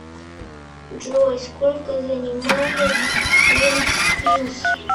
джой сколько занимает вентспилс